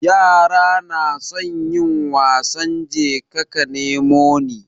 Yara nasan yin wasan jeka ka nemo ni